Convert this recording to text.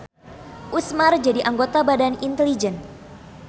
Usmar jadi anggota Badan Inteligen.